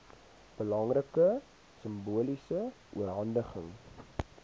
belangrike simboliese oorhandiging